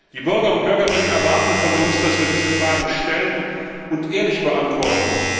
Die Bürger und Bürgerinnen erwarten von uns, dass wir diese Fragen stellen und ehrlich beantworten.